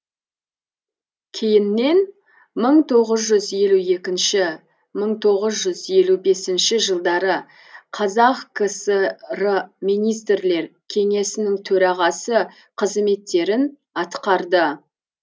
кейіннен мың тоғыз жүз елу екінші мың тоғыз жүз елу бесінші жылдары қазақ кср министрлер кеңесінің төрағасы қызметтерін атқарды